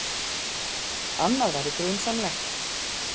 Annað væri grunsamlegt.